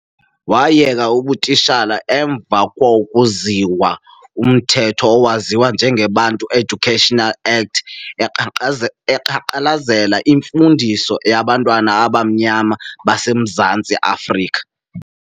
Wayeka ubutishala emva kwoku zizwa umtheto owaziwa njenge Bantu Education Act eqanqalazela imfundiso yabantu abamnyama base Mzantsi-Afrika.